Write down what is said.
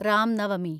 Ram Navami